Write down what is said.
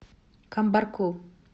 камбарку